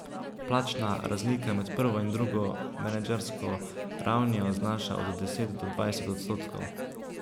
Plačna razlika med prvo in drugo menedžersko ravnijo znaša od deset do dvajset odstotkov.